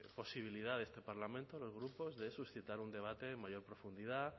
posibilidad de este parlamento a los grupos de suscitar un debate en mayor profundidad